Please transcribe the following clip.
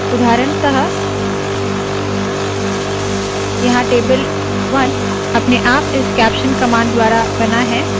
उदाहरणतः यहाँ टेबल 1 अपने आप इस कैप्शन कमांड द्वारा बना है